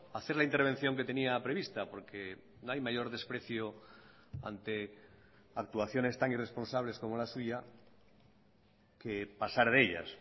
hacer la intervención que tenía prevista porque no hay mayor desprecio ante actuaciones tan irresponsables como la suya que pasar de ellas